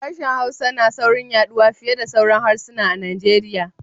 Harshen Hausa na saurin yaɗuwa fiye da sauran harsuna a Nigeria.